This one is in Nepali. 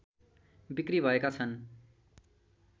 बिक्री भएका छन्